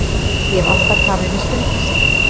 Ég hef alltaf tamið mér stundvísi.